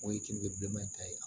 O ye kenige bileman in ta ye